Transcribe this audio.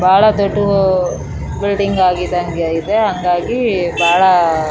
ಬಹಳ ದೊಡ್ಡ್ ಬಿಲ್ಡಿಂಗ್ ಆಗಿದಂಗೆ ಇದೆ ಹಂಗಾಗಿ ಬಾಳ --